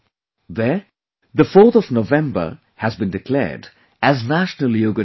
There, the 4th of November has been declared as National Yoga Day